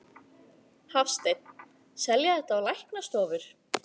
Hafsteinn: Selja þetta á læknastofur?